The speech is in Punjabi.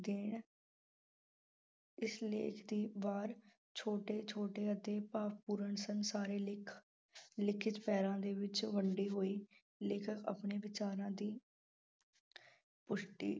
ਇਸ ਲੇਖ ਦੀ ਵਾਰ ਛੋਟੇ ਛੋਟੇ ਅਤੇ ਭਾਵਪੂਰਨ ਸੰਸਾਰੀ ਲਿਖ ਅਹ ਲਿਖਤ ਪਹਿਰਾਂ ਦੇ ਵਿੱਚ ਵੰਡੀ ਹੋਈ। ਲੇਖਕ ਆਪਣੇ ਵਿਚਾਰਾਂ ਦੀ ਪੁਸ਼